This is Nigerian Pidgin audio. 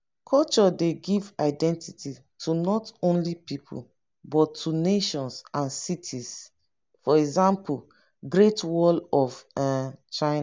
culture dey give identity to not only pipo but to nations and cities eg great wall of um china